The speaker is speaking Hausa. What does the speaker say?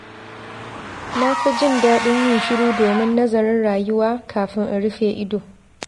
Na fi jin daɗin yin shiru domin nazarin rayuwa kafin in rufe ido.